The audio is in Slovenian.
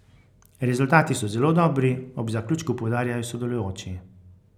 Rezultati so zelo dobri, ob zaključku poudarjajo sodelujoči.